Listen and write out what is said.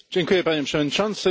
Panie Przewodniczący!